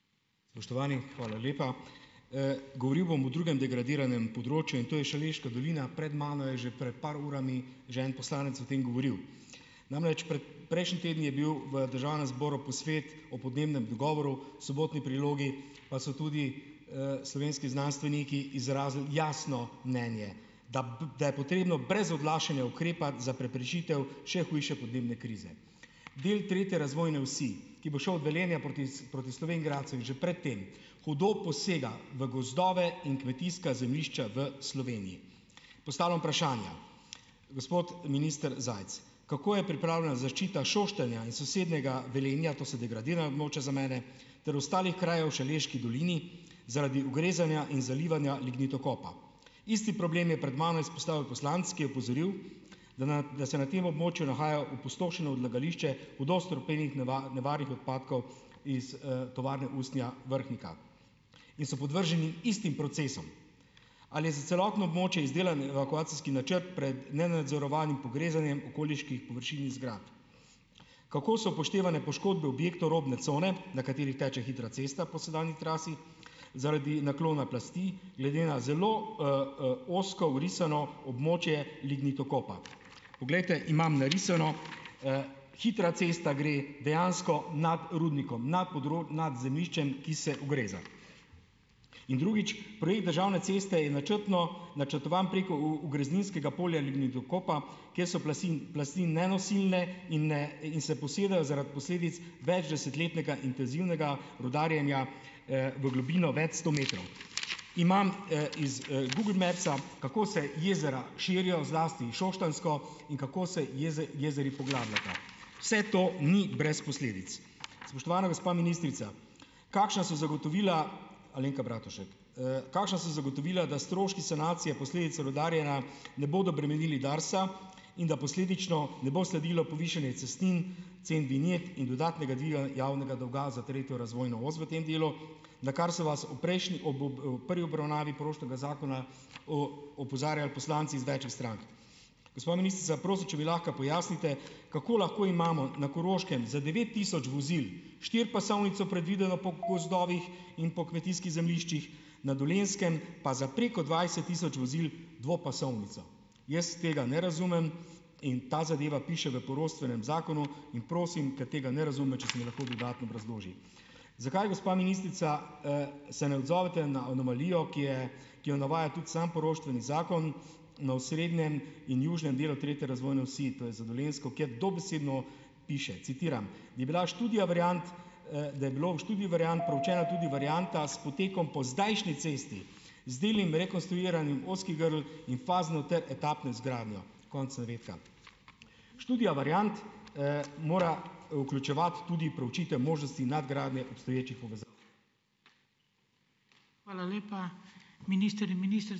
Spoštovani, hvala lepa, govoril bom o drugem degradiranem področju, in to je Šaleška dolina, pred mano je že pred par urami že en poslanec o tem govoril, namreč prejšnji teden je bil v državnem zboru posvet o podnebnem dogovoru, Sobotni prilogi pa so tudi slovenski znanstveniki izrazili jasno mnenje, da da je potrebno brez odlašanja ukrepati za preprečitev še hujše podnebne krize. Del tretje razvojne osi, ki bo šel od Velenja proti proti Slovenj Gradcu in že pred tem hudo posega v gozdove in kmetijska zemljišča v Sloveniji. Postavljam vprašanja, gospod minister Zajc, kako je pripravljena zaščita Šoštanja in sosednjega Velenja, to so degradirana območja za mene, ter ostalih krajev v šaleški dolini zaradi ugrezanja in zalivanja lignitokopa, isti problem je pred mano izpostavil poslanec, ki je opozoril, da na da se na tem območju nahajajo opustošeno odlagališče hudo strupenih nevarnih odpadkov iz, Tovarne usnja Vrhnika in so podvrženi istim procesom. Ali je za celotno območje izdelan evakuacijski načrt pred nenadzorovanim pogrezanjem okoliških površin in zgradb, kako so upoštevane poškodbe objektov robne cone, na kateri teče hitra cesta po sedanji trasi zaradi naklona plasti glede na zelo, ozko vrisano območje lignitokopa, poglejte imam narisano, hitra cesta gre dejansko nad rudnikom nad nad zemljiščem, ki se ugreza, in drugič projekt državne ceste je načrtno načrtovan preko ugrezninskega polja lignitokopa, kje so plasti nenosilne in, ne, in se posedajo zaradi posledic večdesetletnega intenzivnega rudarjenja v globino več sto metrov, imam, iz, Google mapsa, kako se jezera širijo, zlasti Šoštanjsko, in kako se jezeri poglabljata, vse to ni brez posledic. Spoštovana gospa ministrica, kakšna so zagotovila, Alenka Bratušek, kakšna so zagotovila, da stroški sanacije posledic rudarjenja ne bodo bremenili DARS-a in da posledično ne bo sledilo povišanje cestnin vinjet in dodatnega dviga javnega dolga za tretjo razvojno os v tem delu, na kar se vas v prejšnji ob prvi obravnavi poroštvenega zakona opozarjali poslanci iz večih strank? Gospa ministrica, prosim, če mi lahko pojasnite, kako lahko imamo na Koroškem za devet tisoč vozil štiripasovnico predvideno po gozdovih in po kmetijskih zemljiščih, na Dolenjskem pa za preko dvajset tisoč vozil dvopasovnico? Jaz tega ne razumem in ta zadeva piše v poroštvenem zakonu in prosim, ker tega ne razumem, če se mi lahko dodatno obrazloži, zakaj gospa ministrica, se ne odzovete na anomalijo, ki je ki jo navaja tudi sam poroštveni zakon na osrednjem in južnem delu tretje razvojne osi, to je za Dolenjsko, kjer dobesedno piše, citiram: "Je bila študija variant, da je bilo v študiji variant preučena tudi varianta s, potem ko zdajšnji cesti z delnim rekonstruiranjem ozkih grl in fazno ter etapno izgradnjo." Konec navedka. Študija variant, mora vključevati tudi preučitve možnosti nadgradnje obstoječih povezav.